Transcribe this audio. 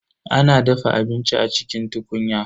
A na dafa abinci a cikin tukunya.